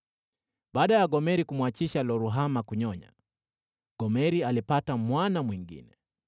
Baada ya Gomeri kumwachisha Lo-Ruhama kunyonya, Gomeri alipata mwana mwingine.